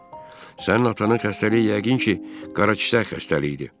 Sənin atanın xəstəliyi yəqin ki, qara ciyər xəstəliyidir.